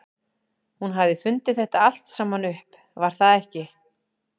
Hún hafði fundið þetta allt saman upp, var það ekki?